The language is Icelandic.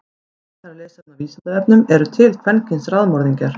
Frekara lesefni á Vísindavefnum: Eru til kvenkyns raðmorðingjar?